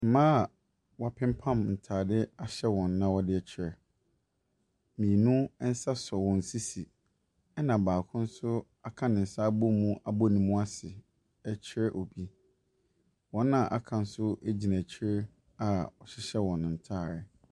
Mmaa a wɔapempam ntaadeɛ ahyɛ wɔn na ɔdekyerɛ. Mmienu nsa so wɔn sisi ɛna baako nso aka ne nsa abomu abu ne mu ase ɛkyerɛ obi. Wɔn a aka nso gyina akyire a wɔhyehyɛ wɔn ntaade.